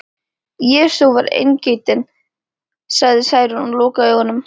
Jesú var eingetinn, sagði Særún og lokaði augunum.